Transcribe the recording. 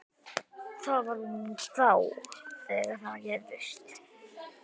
Það var þá!